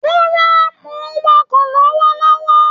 Rárá, mò ń wàkọ̀ lọ́wọ́lọ́wọ́